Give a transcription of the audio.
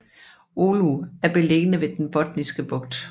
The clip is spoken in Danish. Oulu er beliggende ved Den Botniske Bugt